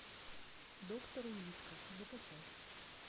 доктор улитка закачай